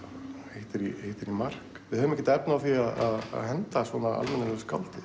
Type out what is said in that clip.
hittir í mark við höfum ekkert efni á því að henda svona almennilegu skáldi